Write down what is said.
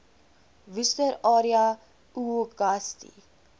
worcester area uagasti